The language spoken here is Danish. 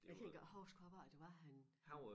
Jeg kan ikke engang huske hvorfor det var han